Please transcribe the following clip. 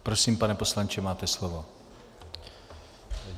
Prosím, pane poslanče, máte slovo.